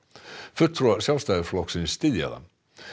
fulltrúar Sjálfstæðisflokksins styðja það